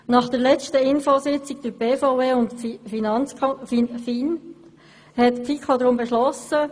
Nach der letzten Informationssitzung durch die BVE und die FIN hat die FiKo deshalb folgendes beschlossen: